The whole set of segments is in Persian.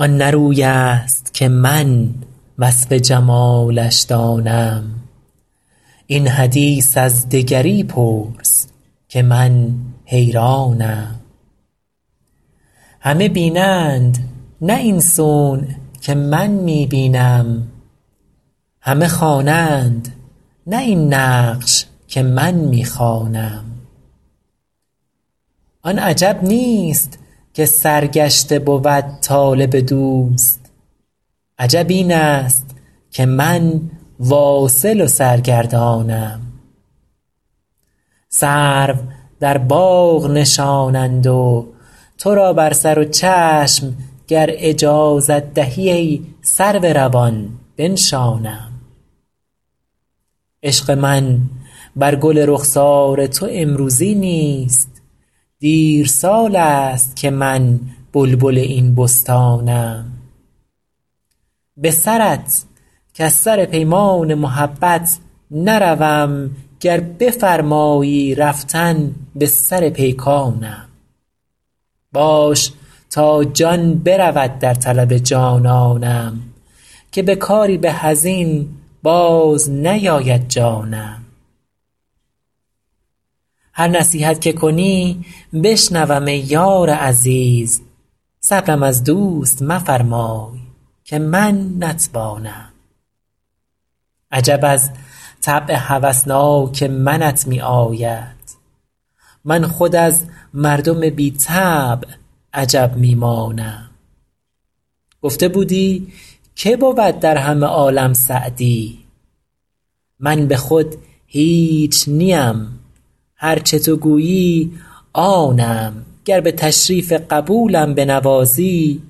آن نه روی است که من وصف جمالش دانم این حدیث از دگری پرس که من حیرانم همه بینند نه این صنع که من می بینم همه خوانند نه این نقش که من می خوانم آن عجب نیست که سرگشته بود طالب دوست عجب این است که من واصل و سرگردانم سرو در باغ نشانند و تو را بر سر و چشم گر اجازت دهی ای سرو روان بنشانم عشق من بر گل رخسار تو امروزی نیست دیر سال است که من بلبل این بستانم به سرت کز سر پیمان محبت نروم گر بفرمایی رفتن به سر پیکانم باش تا جان برود در طلب جانانم که به کاری به از این باز نیاید جانم هر نصیحت که کنی بشنوم ای یار عزیز صبرم از دوست مفرمای که من نتوانم عجب از طبع هوسناک منت می آید من خود از مردم بی طبع عجب می مانم گفته بودی که بود در همه عالم سعدی من به خود هیچ نیم هر چه تو گویی آنم گر به تشریف قبولم بنوازی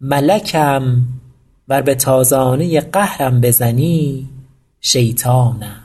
ملکم ور به تازانه قهرم بزنی شیطانم